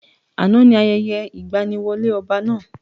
Àná ni ayẹyẹ ìgbaniwọlé ọba náà.